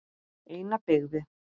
Eina byggði